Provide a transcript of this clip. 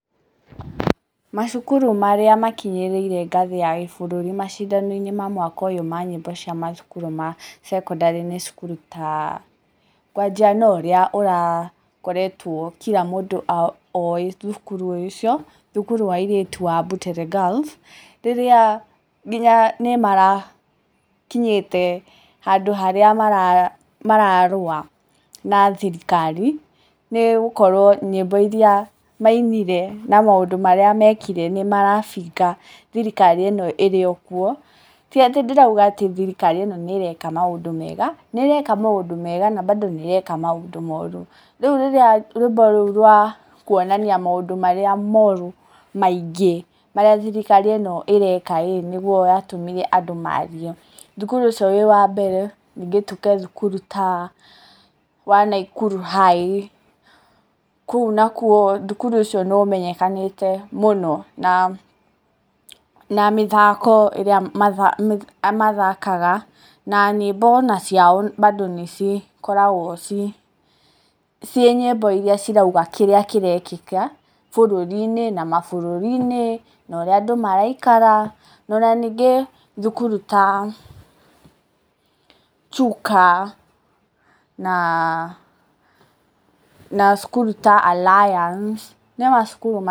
Macukuru marĩa makinyĩrĩire ngathi ya gĩbũrũri macindano ma mwaka ũyũ ma nyĩmbo cia mathukuru ma thekondarĩ, nĩ cukuru ta, gwambia na ũrĩa ũrakorwo kira mũndũ oĩ thukuru ũcio, thukuru wa airĩtu wa Butere Girls, rĩrĩa ngĩnya nĩ marakinyĩte handũ harĩa mararũwa na thirikari, nĩgũkorwa nyĩmo iria mainire na maũndũ marĩa mekire, nĩmarabinga thirikari ĩno ĩrĩokuo, tĩatĩ ndĩrauga thirikari ĩno ĩreka maũndũ mega, nĩ ĩreka maũdũ mega, na bando nĩ ĩreka maũndũ moru. Rĩu hĩndĩ ĩrĩa rwĩmbo rũu, rwa kũonania maũndũ marĩa moru makuonania maingĩ marĩa thirikari ĩno ĩreka-rĩ, nĩmo matũmire thirikari yarie. Thũkuru ĩyo ĩrĩ yambere, nĩngĩ tũke thukuru ta wa Naikuru High, kũu nakuo thukuru ũcio nĩ ũmenyekanĩte mũno na mĩthako, ĩrĩa mathakaga, na nyĩmbo onaciao mbandũ nĩ cigĩkoragwo ciĩnyĩmbo iria cirauga kĩrĩa kĩrekĩka bũrũri-inĩ na mabũrũri-inĩ, na ũrĩa andũ maraikara, na ona ningĩ thukuru ta Chuka na cukuru ta Aliance, nĩ macukuru maingĩ.